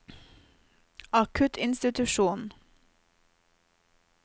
akuttinstitusjonen